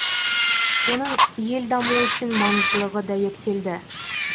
оның ел дамуы үшін маңыздылығы дәйектелді